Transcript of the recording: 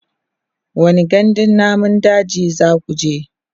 wani gandun namun dajin zakuje?